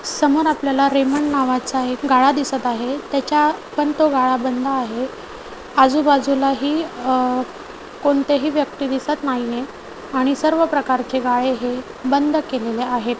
समोर आपल्याला रेमंड नावाचा एक गाळा दिसत आहे त्याच्या पण तो गाळा बंद आहे. आजूबाजूला ही अह कोणतेही व्यक्ती दिसत नाहीये आणि सर्व प्रकारचे गाळे हे बंद केलेले आहेत.